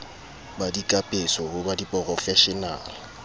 ba dikapeso ho ba diporofeshenale